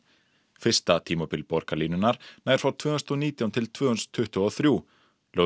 fyrsta tímabil borgarlínunnar nær frá tvö þúsund og nítján til tvö þúsund tuttugu og þrjú lögð